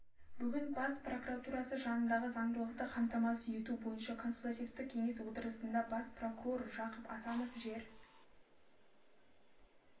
бүгін бас прокуратурасы жанындағы заңдылықты қамтамасыз ету бойынша консультативтік кеңестің отырысында бас прокурор жақып асанов жер